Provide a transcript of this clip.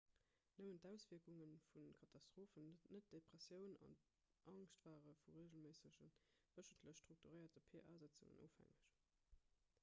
nëmmen d'auswierkunge vu katastrophen net depressioun an angscht ware vu reegelméissege wéchentlech strukturéierte pa-sëtzungen ofhängeg